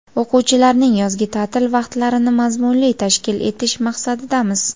o‘quvchilarning yozgi taʼtil vaqtlarini mazmunli tashkil etish maqsadidamiz.